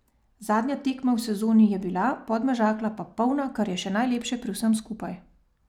Zadnja tekma v sezoni je bila, Podmežakla pa polna, kar je še najlepše pri vsem skupaj.